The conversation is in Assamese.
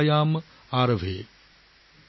আদ্য ইগ কিনিথা আলোচনা সংস্কৃত ভাষা আবহ